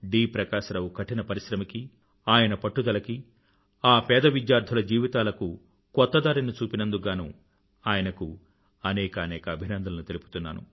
ప్రకాశ రావు కఠిన పరిశ్రమకీ ఆయన పట్టుదలకీ ఆ పేద విద్యార్థుల జీవితాలకు కొత్త దారిని చూపినందుకు గానూ ఆయనకు అనేకానేక అభినందనలు తెలుపుతున్నాను